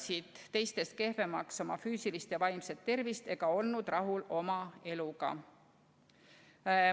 Nad hindasid oma füüsilist ja vaimset tervist teistest kehvemaks ega olnud oma eluga rahul.